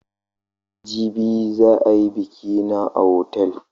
Jibi za a yi biƙi na a otal.